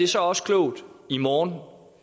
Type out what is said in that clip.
så også klogt i morgen